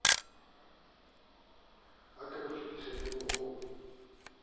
a ka e fetisetsang ho